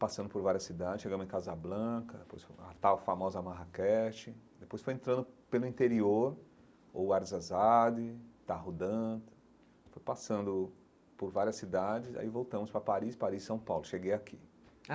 Passando por várias cidades, chegamos em Casablanca, depois fomos a tal famosa Marrakech, depois foi entrando pelo interior, ou Arzazade, Tarrudante, foi passando por várias cidades, aí voltamos para Paris, Paris-São Paulo, cheguei aqui.